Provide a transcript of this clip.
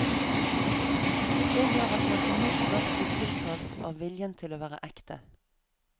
Det gjør at man umiddelbart blir tiltalt av viljen til å være ekte.